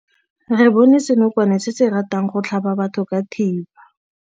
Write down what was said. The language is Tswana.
Re bone senokwane se se ratang go tlhaba batho ka thipa.